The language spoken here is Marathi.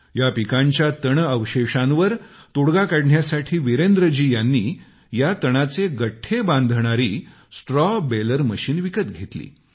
या पिकाच्या तणअवशेषांवर तोडगा काढण्यासाठी वीरेंद्रजी यांनी या तणाचे गठ्ठे बांधणारी स्ट्रॉ बेलर मशीन विकत घेतली